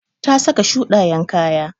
Ta saka shuɗayen kaya.